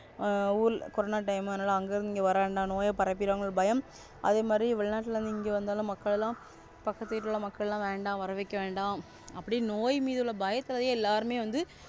ஊரு Corona time அங்கேந்து இங்க வரவேண்டா நோய் பரப்பிடுவாங்கனு ஒரு பயம் அதே மாறி வெளிநாட்டுலெந்து இங்க வந்தாலும் மக்கள் எல்லாம் பக்கத்து வீட்டுல மக்கள் எல்ல வேண்டாம் வரவைக்க வேண்டாம் அப்படி நோய் மீதுள்ள பயத்துல எல்லாருமே வந்து,